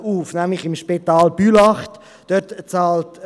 Die glp-Fraktion ist überzeugt: